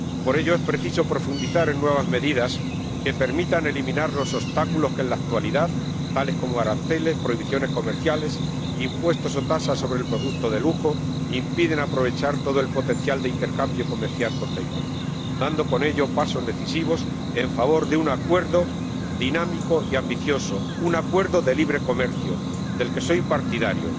Por ello, es preciso profundizar en nuevas medidas que permitan eliminar los obstáculos que en la actualidad −tales como aranceles, prohibiciones comerciales, impuestos o tasas sobre el producto de lujo− impiden aprovechar todo el potencial de intercambio comercial con Taiwán, dando con ello pasos decisivos en favor de un acuerdo dinámico y ambicioso, un acuerdo de libre comercio, del que soy partidario.